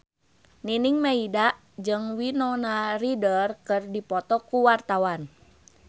Nining Meida jeung Winona Ryder keur dipoto ku wartawan